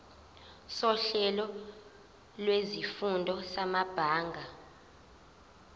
sohlelo lwezifundo samabanga